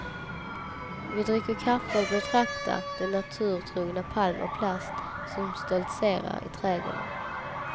Vi dricker kaffe och betraktar den naturtrogna palm av plast som stoltserar i trädgården.